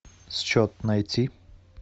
счет найти